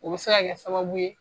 O bɛ se ka kɛ sababu ye.